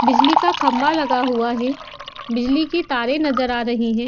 बिजली का खंभा लगा हुआ है बिजली की तारें नजर आ रही हैं।